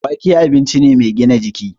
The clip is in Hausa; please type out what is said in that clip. Wake abinci ne mai gina jiki